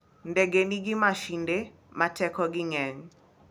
Ndege nigi masinde ma tekogi ng'eny.